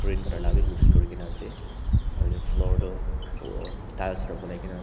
green colour parabi mix kurina ase aru edu floor toh tiles para banai kaena --